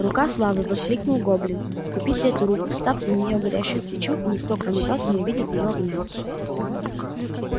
рука славы воскликнул гоблин купите эту руку вставьте в неё горящую свечу и никто кроме вас не увидит её огня